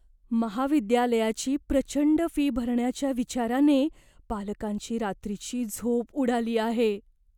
महाविद्यालयाची प्रचंड फी भरण्याच्या विचाराने पालकांची रात्रीची झोप उडाली आहे.